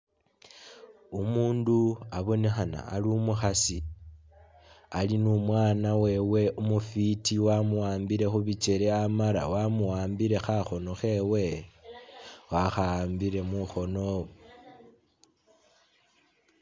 Umundu abonekhana Ali umukhasi Ali numwana wewe umufiti wamuwambile khubikyele Amala wamuwambile khakhono khewe, wakha'ambile mukhono